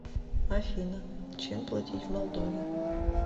афина чем платить в молдове